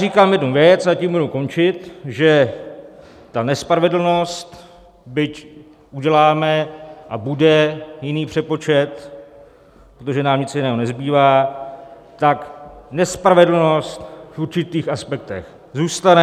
Říkám jednu věc, a tím budu končit, že ta nespravedlnost, byť uděláme a bude jiný přepočet, protože nám nic jiného nezbývá, tak nespravedlnost v určitých aspektech zůstane.